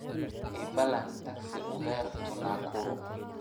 ii ballan taxi uber to nakuru